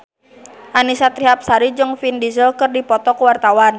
Annisa Trihapsari jeung Vin Diesel keur dipoto ku wartawan